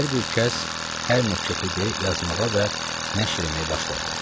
Hər bir kəs hər nə kefidir yazmağa və nəşr eləməyə başladı.